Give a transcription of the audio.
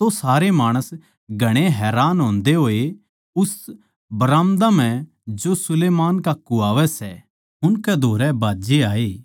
तो सारे माणस घणे हैरान होंदे होए उस बराम्दा म्ह जो सुलैमान का कुह्वावै सै उनकै धोरै भाज्जे आये